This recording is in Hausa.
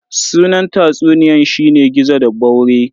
Sunan tatsuniyan shine "Gizo da ɓaure"